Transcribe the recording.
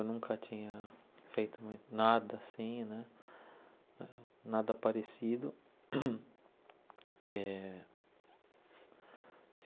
Eu nunca tinha feito nada assim né, nada parecido. Eh